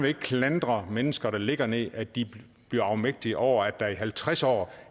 ikke klandre mennesker der ligger ned at de bliver afmægtige over at der gennem halvtreds år